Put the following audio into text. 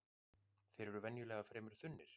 Þeir eru venjulega fremur þunnir